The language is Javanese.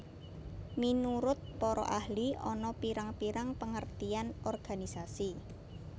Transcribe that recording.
Minurut para ahli ana pirang pirang pengertian organisasi